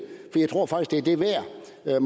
er det